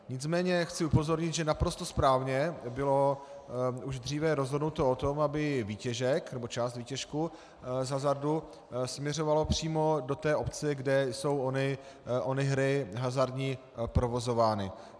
Nicméně chci upozornit, že naprosto správně bylo už dříve rozhodnuto o tom, aby výtěžek, nebo část výtěžku z hazardu směřovala přímo do té obce, kde jsou ony hry hazardní provozovány.